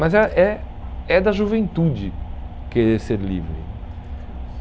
Mas é é é da juventude querer ser livre.